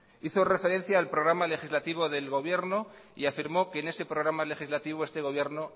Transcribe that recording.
hizo referencia al programa legislativo del gobierno y afirmó que en ese programa legislativo este gobierno